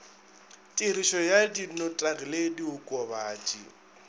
tirišo ya dinotagi le diokobatši